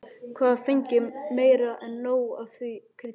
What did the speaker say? Hafði fengið meira en nóg af því kryddi.